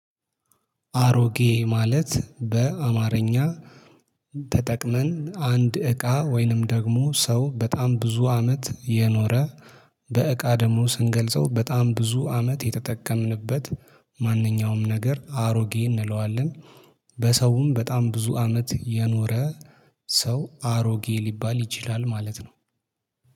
አሮጌ ማለት በአማርኛ ተጠቅመን አንድ እቃ ወይንም ደግሞ ሰው በጣም ብዙ አመት እየኖረ በእቃ ደግሞ ስንገልጸው በጣም ብዙ አመት የተጠቀምንበት ማንኛውም ነገር አሮጌ እንለዋለን። በሰውም በጣም ብዙ አመት የኖረ ሰው አሮጌ ሊባል ይችላል ማለት ነው።